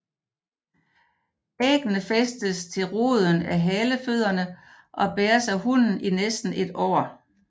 Æggene fæstes til roden af halefødderne og bæres af hunnen i næsten et år